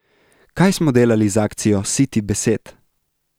Kaj smo delali z akcijo Siti besed?